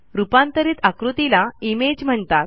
रूपांतरित आकृतीला इमेज म्हणतात